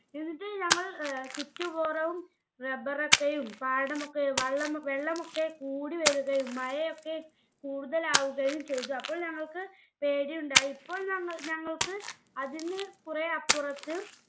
എന്നിട്ട് ഞങ്ങൾ ഏർ ചുറ്റ വും rubber ഒക്കെയും പാടമൊക്കെ വള്ളം വെള്ളമൊക്കെ കൂടി വരുകയും മഴയൊക്കെ കൂടുതലാവുകയും ചെയ്തു. അപ്പോൾ ഞങ്ങൾക്ക് പേടി ഉണ്ടായി. ഇപ്പോൾ നമ്മൾ ഞങ്ങൾക്ക് അതിൽനിന്ന് കുറെ അപ്പുറത്ത്